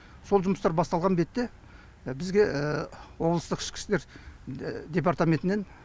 сол жұмыстар басталған бетте бізге облыстық ішкі істер департаментінен